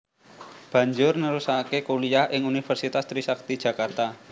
Banjur nerusake kuliah ing Universitas Trisakti Jakarta